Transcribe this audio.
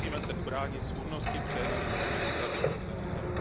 Musíme se ubránit svůdnosti přehnaných administrativních zásahů.